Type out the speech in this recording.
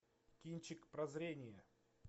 кинчик прозрение